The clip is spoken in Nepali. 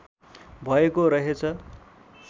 भएको रहेछ